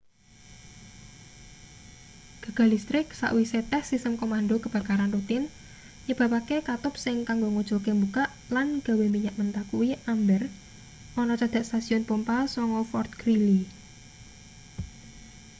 gagal listrik sawise tes sistem komando kebakaran rutin nyebabake katup sing kanggo nguculke mbukak lan gawe minyak mentah kuwi amber ana cedhak stasiun pompa 9 fort greely